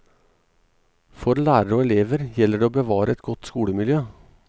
For lærere og elever gjelder det å bevare et godt skolemiljø.